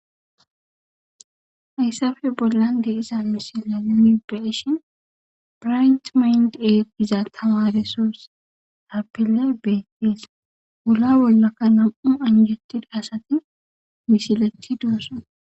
Hayssa bolla diza misileta nuni beyishin bright mind academy giza tamaresso betees,wulla bolla nam''u anjjetida asati misilettidi de'osona.